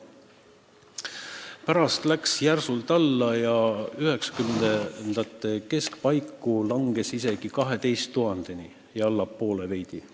Pärast läks see järsult alla ja üheksakümnendate keskpaiku langes isegi 12 000-ni ja veidi sellest allapoolegi.